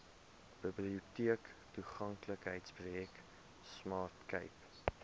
biblioteektoeganklikheidsprojek smart cape